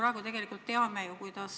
Kas komisjonis oli sellest juttu?